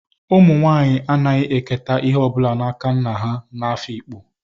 Umu nwanyi anaghi eketa ihe o bula n'aka nna ha n'Afikpo,